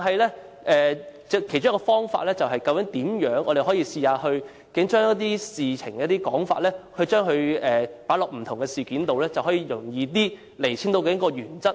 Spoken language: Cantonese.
然而，其中一個方法是我們可以嘗試把一些事情或說法放在不同事件中，便能較容易釐清原則。